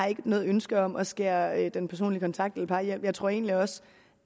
har ikke noget ønske om at skære den personlig kontakt eller jeg tror egentlig også